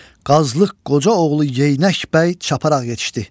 Qazlıq qoca oğlu Yeylək bəy çaparaq yetişdi.